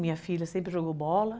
Minha filha sempre jogou bola.